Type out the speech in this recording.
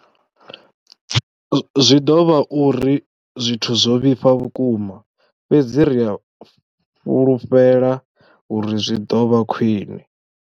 Zwi ḓo vha hu uri zwithu zwo vhifha vhukuma, fhedzi ri a fhulufhela uri zwi ḓo vha khwiṋe.